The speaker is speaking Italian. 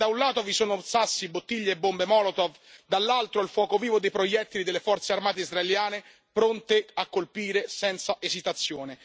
E se da un lato vi sono sassi, bottiglie e bombe Molotov, dall'altro il fuoco vivo dei proiettili delle forze armate israeliane pronte a colpire senza esitazione.